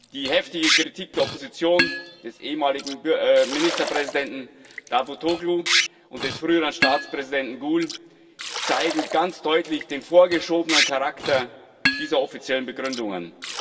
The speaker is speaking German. Die heftige Kritik der Opposition, des ehemaligen Ministerpräsidenten Davutoğlu und des früheren Staatspräsidenten Gül zeigen ganz deutlich den vorgeschobenen Charakter dieser offiziellen Begründungen.